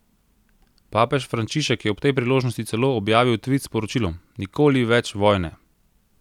Papež Frančišek je ob tej priložnosti celo objavil tvit s sporočilom: "Nikoli več vojne!